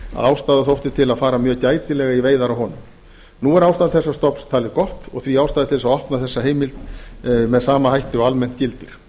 ástæða þótti til að fara mjög gætilega í veiðar á honum nú er ástand þessa stofns talið gott og því ástæða til að opna þessa heimild með sama hætti og almennt gildir